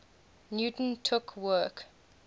newton took work